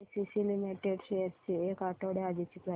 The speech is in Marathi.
एसीसी लिमिटेड शेअर्स ची एक आठवड्या आधीची प्राइस